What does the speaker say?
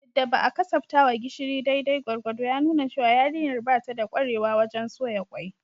Yadda ba a kasaftawa gishiri daidai gwargwado ya nuna cewa yarinyar ba ta da kwarewa wajen soya kwai